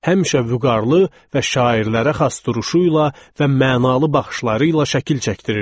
Həmişə vüqarlı və şairlərə xas duruşu ilə və mənalı baxışları ilə şəkil çəkdirirdilər.